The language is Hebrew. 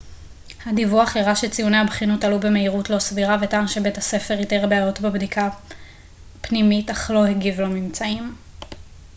הדיווח הראה שציוני הבחינות עלו במהירות לא סבירה וטען שבית הספר איתר בעיות בבדיקה פנימית אך לא הגיב לממצאים